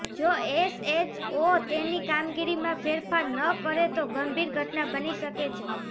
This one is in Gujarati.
જો એસએચઓ તેની કામગીરીમાં ફેરફાર ન કરે તો ગંભીર ઘટના બની શકે છે